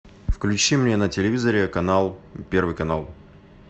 включи мне на телевизоре канал первый канал